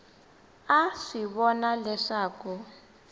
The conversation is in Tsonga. a a swi vona leswaku